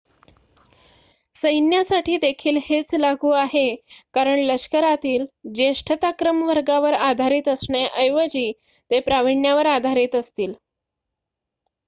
सैन्यासाठी देखील हेच लागू आहे कारण लष्करातील ज्येष्ठताक्रम वर्गावर आधारित असण्याऐवजी ते प्राविण्यावर आधारित असतील